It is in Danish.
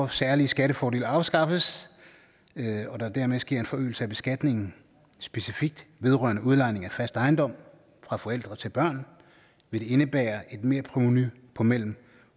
særlige skattefordele afskaffes og der dermed sker en forøgelse af beskatningen specifikt vedrørende udlejning af fast ejendom fra forældre til børn vil det indebære et merprovenu på mellem